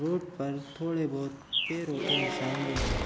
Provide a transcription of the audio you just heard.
Road पर थोड़े बहुत पैरों के निशान भी हैं ।